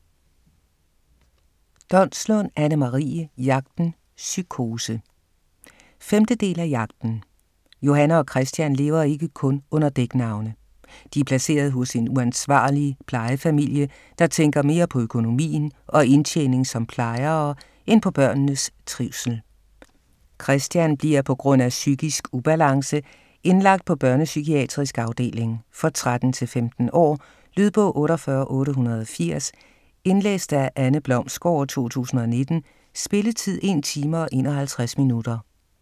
Donslund, Anne-Marie: Jagten - psykose 5. del af Jagten. Johanne og Christian lever ikke kun under dæknavne. De er placeret hos en uansvarlig plejefamilie, der tænker mere på økonomien og indtjening som plejere end på børnenes trivsel. Christian bliver pga. psykisk ubalance indlagt på børnepsykiatrisk afdeling. For 13-15 år. Lydbog 48880 Indlæst af Anne Blomsgaard, 2019. Spilletid: 1 time, 51 minutter.